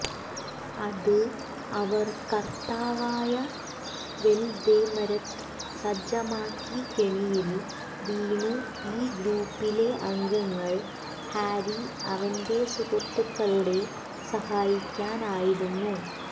അത് അവർ കർത്താവായ വൊല്ദെമൊര്ത് സജ്ജമാക്കി കെണിയിൽ വീണു ഈ ഗ്രൂപ്പിലെ അംഗങ്ങൾ ഹാരി അവന്റെ സുഹൃത്തുക്കളുടെ സഹായിക്കാൻ ആയിരുന്നു